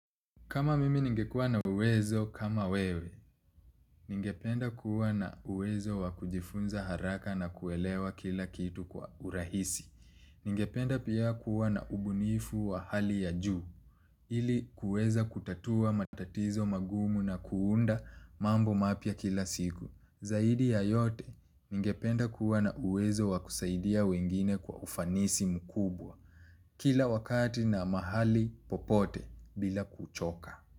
Kama mimi ningekuwa na uwezo, kama wewe, ningependa kuwa na uwezo wa kujifunza haraka na kuelewa kila kitu kwa urahisi. Ningependa pia kuwa na ubunifu wa hali ya juu, ili kuweza kutatua matatizo magumu na kuunda mambo mapya kila siku. Zaidi ya yote, ningependa kuwa na uwezo wa kusaidia wengine kwa ufanisi mkubwa, kila wakati na mahali popote bila kuchoka.